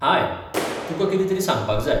हाय, तुकां कितेंतरी सांगपाक जाय.